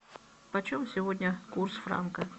почем сегодня курс франка